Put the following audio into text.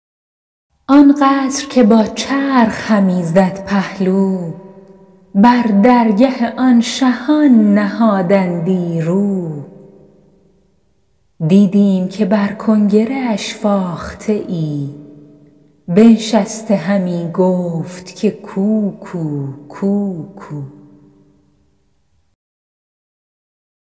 آن قصر که با چرخ همی زد پهلو بر درگه آن شهان نهادندی رو دیدیم که بر کنگره اش فاخته ای بنشسته همی گفت که کوکو کوکو